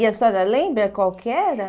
E a senhora lembra qual que era?